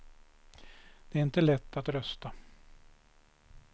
Det är inte lätt att rösta.